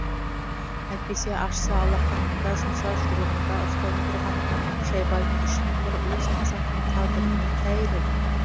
әйтпесе ашса алақанында жұмса жұдырығында ұстап отырған шайбани үшін бір уыс қазақтың тағдыры не тәйір еді